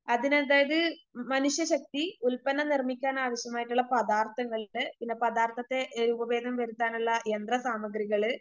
അതിനതായത് മനുഷ്യശക്തി, ഉൽപ്പന്നം നിർമിക്കാനാവശ്യമായിട്ടുള്ള പദാർത്ഥങ്ങൾക്ക് പിന്നെ പദാർത്ഥത്തെ രൂപഭേദം വരുത്താനുള്ള യന്ത്രസാമഗ്രികള്,